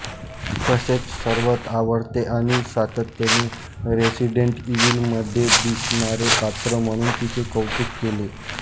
तसेच सर्वात आवडते आणि सातत्याने रेसिडेंट ईविलमध्ये दिसणारे पात्र म्हणून तिचे कौतुक केले